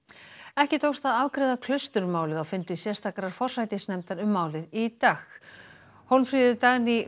ekki tókst að afgreiða Klausturmálið á fundi sérstakrar forsætisnefndar um málið í dag Hólmfríður Dagný